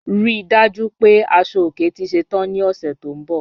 Rí dájú pé asọ-ọ̀kè tì ṣẹ́tàn ní ọṣẹ́ tó nbọ̀.